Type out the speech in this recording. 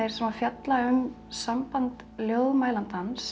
fjalla um samband